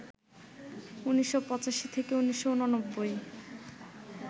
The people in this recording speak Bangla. ১৯৮৫ থেকে ১৯৮৯